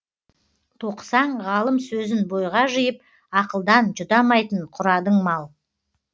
тоқысаң ғалым сөзін бойға жиып ақылдан жұтамайтын құрадың мал